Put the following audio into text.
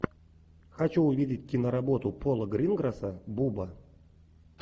хочу увидеть киноработу пола гринграсса буба